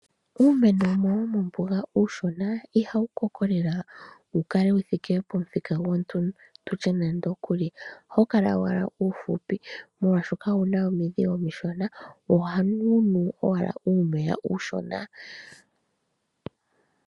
Uumeno wumwe womombuga uushona Ihawu koko lela wukale wuthike pomuthika gwoondundu, ohawu kala owala uushona molwaashoka owuna omudhi omishona ohawunu owala uumeya uushona.